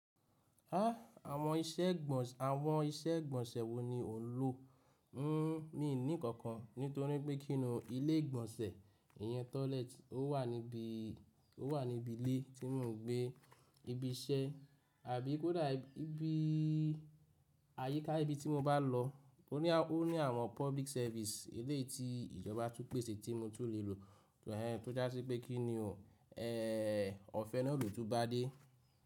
Áà, àwọn iṣẹ́ ìgbọ̀nsẹ̀, àwọn iṣẹ́ ìgbọ̀nsẹ̀ wo ni ò ń lò? N n, mí ní kankan, nítorí pé kí ni o ilé ìgbọ̀nsẹ̀, ìyẹn toilet ó wà níbi, ó wà níbi ilé tí mò ń gbé, ibi iṣẹ́ àbí kódà ibi, àyíká ibi tí mo bá lọ. O ní, o ní àwọn public service eléyii tí ìjọba tún pèsè tí mo tún le lò, tó já sí pé kí ni o, ẹ, ọ̀fẹ́ náà ló tún bá dé.